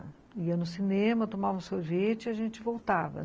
Ia no cinema, tomava um sorvete e a gente voltava.